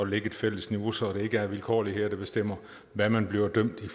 lægge et fælles niveau så det ikke er vilkårligheder der bestemmer hvad man bliver dømt ved